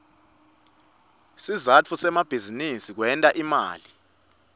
sizatfu semabizinisi kwenta imali